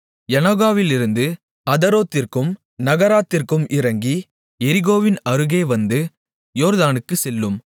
யநோகாவிலிருந்து அதரோத்திற்கும் நகராத்திற்கும் இறங்கி எரிகோவின் அருகே வந்து யோர்தானுக்குச் செல்லும்